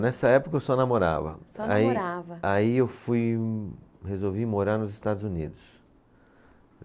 Nessa época eu só namorava. Só namorava. Aí, aí eu fui, resolvi morar nos Estados Unidos.